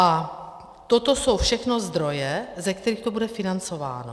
A toto jsou všechno zdroje, ze kterých to bude financováno.